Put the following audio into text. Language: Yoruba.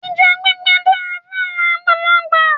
Ẹja gbígbẹ dára fáwọn àgbàlagbà